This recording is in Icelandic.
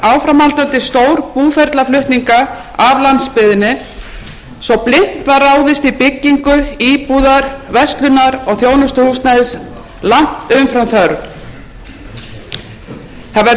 áframhaldandi stórbúferlaflutninga af landsbyggðinni svo blint var ráðist í byggingu íbúða verslunar og þjónustuhúsnæðis langt umfram þörf það verður líka að segja eins og er að bankar